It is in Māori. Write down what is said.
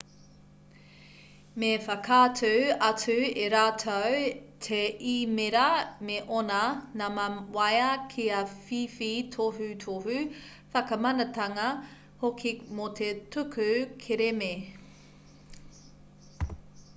me whakaatu atu e rātou te īmēra me ōna nama waea kia whiwhi tohutohu/whakamanatanga hoki mō te tuku kerēme